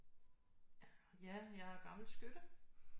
Ja jeg er gammel skytte